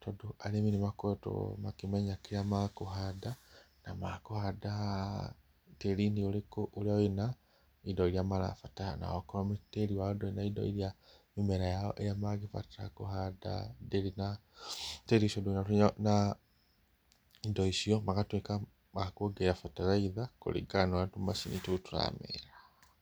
tondũ arĩmi nĩmakoretwo makĩmenya kĩrĩa makũhanda, na makũhanda tĩri-inĩ ũrĩkũ, ũria wĩna indo iria marabatara, na akorwo tĩri wao ndũrĩ na indo iria mĩmera yao mangĩbatara kũhanda, ndĩrĩ, tĩri ũcio ndũrĩ na indo icio, magatuĩka a kuongerera bataraitha kũringana na ũrĩa tũmacini tũu tũramera.